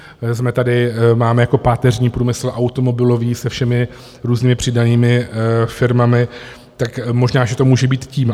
Máme tady jako páteřní průmysl automobilový se všemi různými přidanými firmami, tak možná že to může být tím.